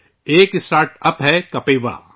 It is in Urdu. ایک اسٹارٹ ہے ، کپیوا !